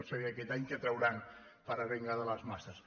no sé aquest any què trauran per arengar les masses